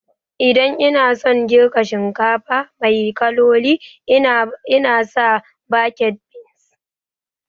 Idan ina son girka shinkafa mai kaloli ina sa baked beans